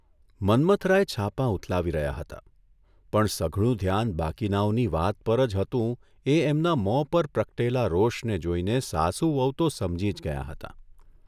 મન્મથરાય છાપાં ઊથલાવી રહ્યા હતા પણ સઘળું ધ્યાન બાકીનાંઓની વાત પર જ હતું એ એમના મોં પર પ્રકટેલા રોષને જોઇને સાસુ વહુ તો સમજી જ ગયાં હતાં.